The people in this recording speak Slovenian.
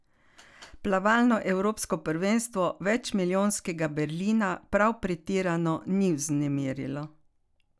Plavalno evropsko prvenstvo večmilijonskega Berlina prav pretirano ni vznemirilo.